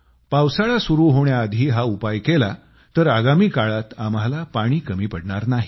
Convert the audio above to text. पावसाळा सुरू होण्याआधी हा उपाय केला तर आगामी काळात आम्हाला पाणी कमी पडणार नाही